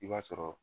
I b'a sɔrɔ